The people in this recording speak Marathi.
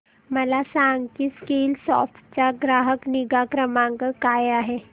मला सांग की स्कीलसॉफ्ट चा ग्राहक निगा क्रमांक काय आहे